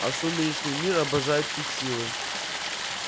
а сумеречный мир обожает пить силы